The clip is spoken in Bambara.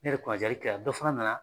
Ne yɛrɛ kunna jaali kɛra dɔ fana nana.